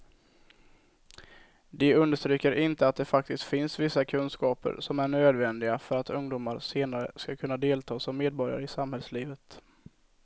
De understryker inte att det faktiskt finns vissa kunskaper som är nödvändiga för att ungdomar senare ska kunna delta som medborgare i samhällslivet.